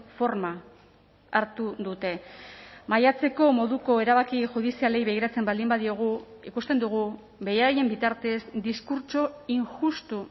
forma hartu dute maiatzeko moduko erabaki judizialei begiratzen baldin badiogu ikusten dugu beraien bitartez diskurtso injustu